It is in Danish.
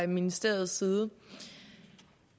ministeriets side